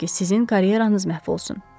İstəmirəm ki, sizin karyeranız məhv olsun.